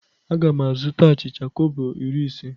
A ga m azụta achịcha kobo iri ise.